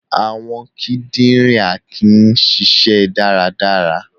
Awọn kidinrin Akin nṣiṣẹ daradara.